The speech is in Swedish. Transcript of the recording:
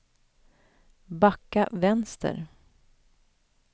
backa vänster